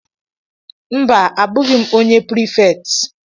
Mba, abụghị m onye prefect.